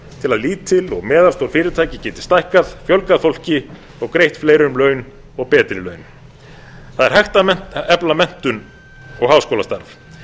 til að lítil og meðalstór fyrirtæki geti stækkað fjölgað fólki og greitt fleirum laun og betri laun það er hægt að efla menntun og háskólastarf en